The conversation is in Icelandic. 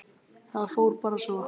Það fór bara svo.